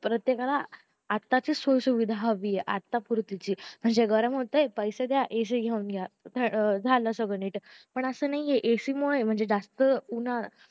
प्रत्येकाला आताची सुख सुविधा हवीय म्हणजे आता पूर्तीची म्हणजे गरम होतंय पैसे द्या AC घेऊन जा झालं सगळं नीट पण असं नाहीए AC मुळे जास्त उन्हाळ